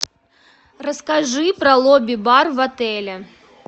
расскажи про лобби бар в отеле